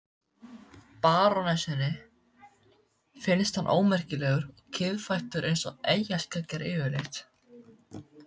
Barónessunni finnst hann ómerkilegur og kiðfættur eins og eyjarskeggjar yfirleitt.